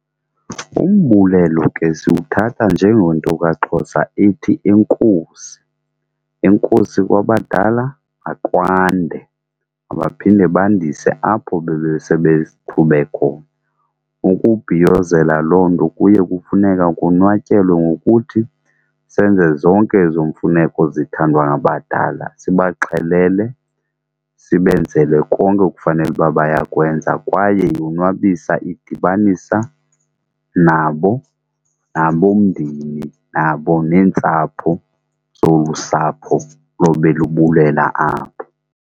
Umbulelo ke siwuthatha njengento kaXhosa ithi enkosi, enkosi kwabadala, makwande mabaphinde bandise apho bebe sebe qhube khona. Ukubhiyozela loo nto kuye kufuneka konwatyelwe ngokuthi senze zonke ezo mfuneko zithandwa ngabadala sibaxhelele, sibenzele konke ekufanele uba bayakwenza. Kwaye yonwabisa idibanisa nabo, nabo mndeni, nabo neentsapho zolu sapho lobe lubulela apho.